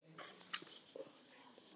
Og staf.